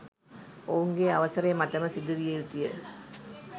ඔවුන්ගේ අවසරය මතම සිදුවිය යුතුය